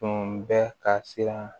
Tun bɛ ka siran